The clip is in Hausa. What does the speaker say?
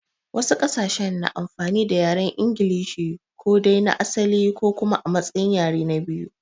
Wasu ƙasashen suna amfani da yaren inglishi, ko dai na asali ko kuma a matsayin yare na biyu.